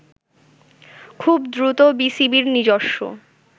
খুব দ্রুত বিসিবির নিজস্ব